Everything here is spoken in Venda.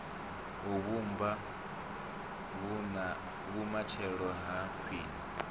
u vhumba vhumatshelo ha khwine